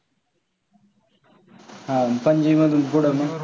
अह पणजी मधून पुढं मग?